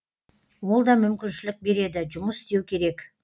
ол да мүмкіншілік береді жұмыс істеу керек